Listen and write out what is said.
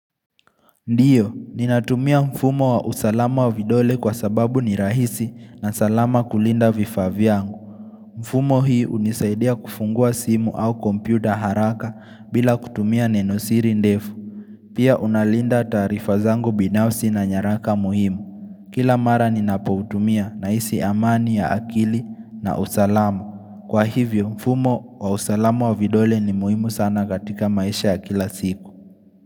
Ndiyo, ninatumia mfumo wa usalama wa vidole kwa sababu ni rahisi na salama kulinda vifaavyangu. Mfumo hii hunisaidia kufungua simu au kompyuta haraka bila kutumia nenosiri ndefu. Pia unalinda ttarifa zangu binafsi na nyaraka muhimu. Kila mara ninapotumia na ihsi amani ya akili na usalama Kwa hivyo, mfumo wa usalama wa vidole ni muhimu sana katika maisha ya kila siku.